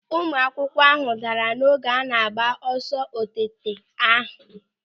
Ụmụakwụkwọ abụọ daara n'oge a na-agba ọsọ oteáká ahụ.